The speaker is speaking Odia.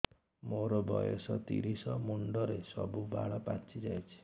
ମୋର ବୟସ ତିରିଶ ମୁଣ୍ଡରେ ସବୁ ବାଳ ପାଚିଯାଇଛି